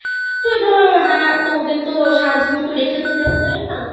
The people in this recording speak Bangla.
ওই ধরো হ্যাঁ তো ওদের তো সারা জীবন তো রেখে তো দেওয়া যায় না